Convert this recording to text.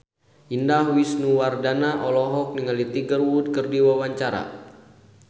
Indah Wisnuwardana olohok ningali Tiger Wood keur diwawancara